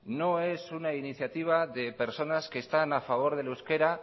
no es una iniciativa de personas que están a favor del euskera